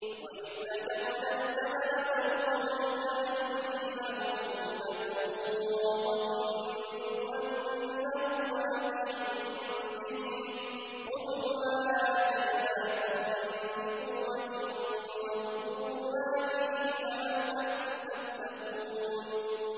۞ وَإِذْ نَتَقْنَا الْجَبَلَ فَوْقَهُمْ كَأَنَّهُ ظُلَّةٌ وَظَنُّوا أَنَّهُ وَاقِعٌ بِهِمْ خُذُوا مَا آتَيْنَاكُم بِقُوَّةٍ وَاذْكُرُوا مَا فِيهِ لَعَلَّكُمْ تَتَّقُونَ